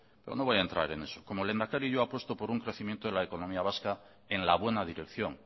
pero no voy a entrar en eso como lehendakari yo apuesto por un crecimiento de la economía vasca en la buena dirección